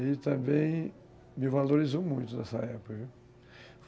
Ele também me valorizou muito nessa época, viu